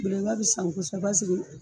Belebeleba bɛ san kɔsɛbɛ.